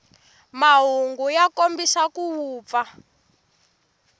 mahungu ya kombisa ku vupfa